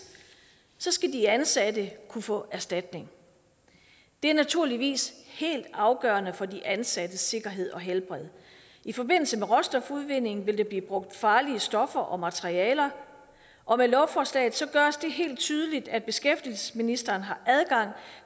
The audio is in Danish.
skal de ansatte kunne få erstatning det er naturligvis helt afgørende for de ansattes sikkerhed og helbred i forbindelse med råstofudvindingen vil der blive brugt farlige stoffer og materialer og med lovforslaget gøres det helt tydeligt at beskæftigelsesministeren har adgang